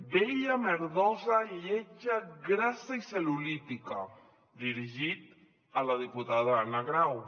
vella merdosa lletja grassa i cel·lulítica dirigit a la diputada anna grau